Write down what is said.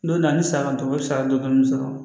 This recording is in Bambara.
Don na ni saga kɔni o ye sariya don sɔrɔ